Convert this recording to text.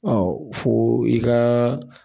fo i ka